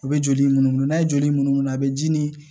A bɛ joli mun n'a ye joli munu munu a bɛ ji nin